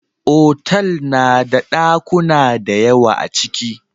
Otal nada ɗakuna dayawa aciki